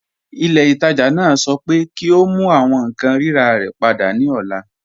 Ilẹ̀-itaajà naa sọ̀ pẹ kí o mú àwọn nkan rírà rẹ̀ pada ni ọ̀là